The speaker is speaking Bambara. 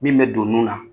Min bɛ don nun na